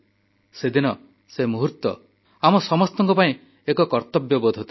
ସେଦିନ ସେ ମୁହୂର୍ତ୍ତ ଆମ ସମସ୍ତଙ୍କ ପାଇଁ ଏକ କର୍ତ୍ତବ୍ୟବୋଧ ଥିଲା